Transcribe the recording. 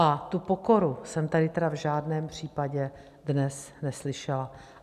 A tu pokoru jsem tady tedy v žádném případě dnes neslyšela.